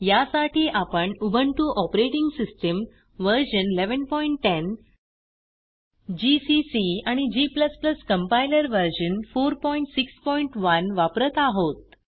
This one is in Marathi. ह्यासाठी आपण Ubuntu operating system version 1110 GCC आणि g कंपाइलर व्हर्शन 461 वापरत आहोत